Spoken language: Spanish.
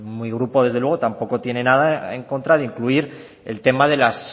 mi grupo desde luego tampoco tiene nada en contra de incluir el tema de la